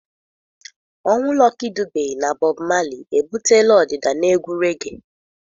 Ọnwụ Lucky Dube na Bob Marley ebutela ọdịda na egwu regee.